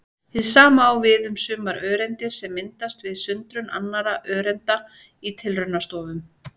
Hið sama á við um sumar öreindir sem myndast við sundrun annarra öreinda í tilraunastofum.